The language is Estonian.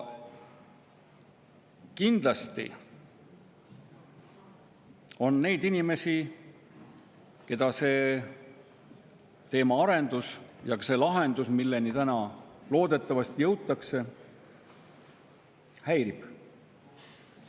Kindlasti on neid inimesi, keda see teemaarendus ja ka see lahendus, milleni täna loodetavasti jõutakse, häirib.